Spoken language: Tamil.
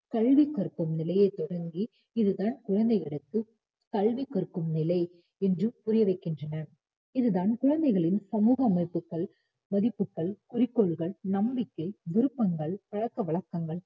கல்வி கற்கும் நிலையை தொடங்கி இதுதான் குழந்தைக்கு கல்வி கற்கும் நிலை என்று புரிய வைக்கின்றனர். இது தான் குழந்தைகளின் சமூக அமைப்புகள், மதிப்புகள், குறிக்கோள்கள், நம்பிக்கை, விருப்பங்கள், பழக்க வழக்கங்கள்,